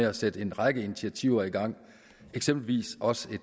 at sætte en række initiativer i gang eksempelvis også i